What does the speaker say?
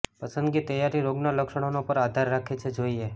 પસંદગી તૈયારી રોગનાં લક્ષણોનો પર આધાર રાખે છે જોઇએ